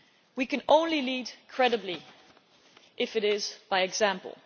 We can only lead credibly if it is by example.